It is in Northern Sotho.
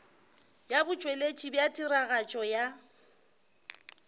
ya botšweletši bja tiragatšo ya